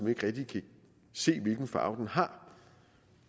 ikke rigtig kan se hvilken farve den har